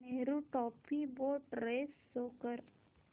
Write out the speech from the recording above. Nehru trophy boat race show कर